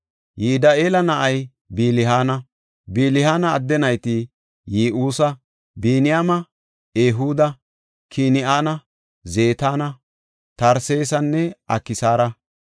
Yidi7eela na7ay Bilihaana. Bilihaana adde nayti Yi7uusa, Biniyaame, Ehuuda, Kin7ana, Zetana, Tarsesanne Aksaara;